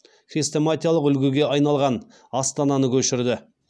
хрестоматиялық үлгіге айналған астананы көшірді